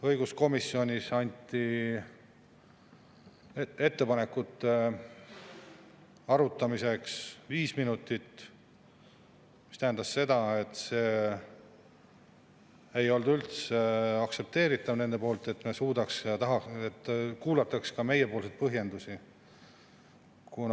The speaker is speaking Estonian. Õiguskomisjonis anti ettepanekute arutamiseks aega viis minutit, mis tähendas, et nende arvates ei olnud üldse aktsepteeritav, et kuulataks ka meie põhjendusi.